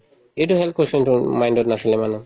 এইটো question তো উম mind ত নাছিলে মানুহৰ